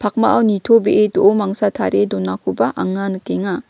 pakmao nitobee do·o mangsa tarie donakoba anga nikenga.